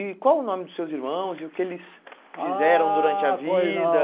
E qual o nome dos seus irmãos e o que eles Ahh Fizeram durante a vida?